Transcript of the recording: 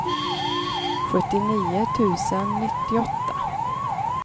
sjuttionio tusen nittioåtta